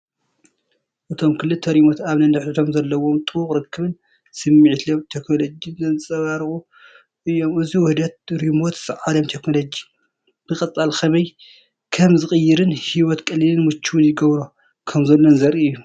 እቶም ክልተ ሪሞት ኣብ ነንሕድሕዶም ዘለዎም ጥቡቕ ርክብን ስምዒት ለውጢ ቴክኖሎጂን ዘንጸባርቑ እዮም። እዚ ውህደት ሪሞትስ ዓለም ቴክኖሎጂ ብቐጻሊ ከመይ ከም ዝቕየርን ህይወት ቀሊልን ምቹውን ይገብሮ ከምዘሎ ዘርኢ እዩ።